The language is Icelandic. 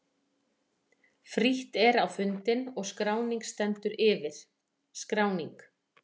Frítt er á fundinn og skráning stendur yfir. SKRÁNING